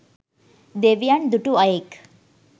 දෙවියන් දුටු අයෙක්